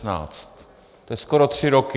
To je skoro tři roky.